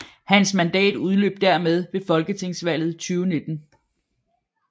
Hans mandat udløb dermed ved Folketingsvalget 2019